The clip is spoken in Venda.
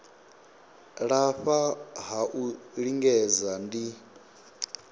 lafha ha u lingedza ndi